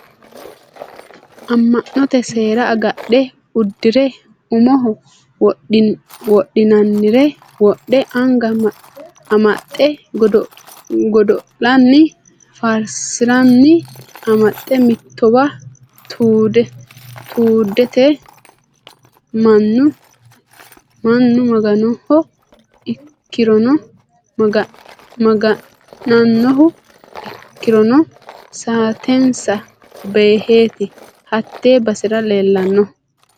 Ama'note seera agadhe uddire umoho wodhinannire wodhe anga amaxine godo'linanni faarsi'nannire amaxe mittowa tuddeti mannu maga'nanohu ikkirono saatensa beeheti hate basera leellanohu.